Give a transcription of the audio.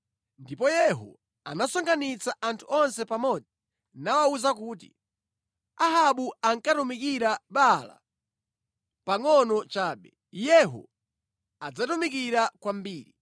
Ndipo Yehu anasonkhanitsa anthu onse pamodzi nawawuza kuti, “Ahabu ankatumikira Baala pangʼono chabe; Yehu adzamutumikira kwambiri.